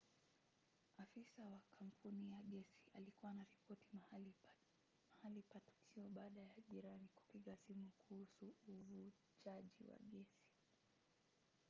afisa wa kampuni ya gesi alikuwa anaripoti mahali pa tukio baada ya jirani kupiga simu kuhusu uvujaji wa gesi